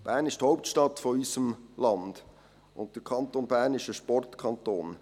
Bern ist die Hauptstadt unseres Landes, und der Kanton Bern ist ein Sportkanton.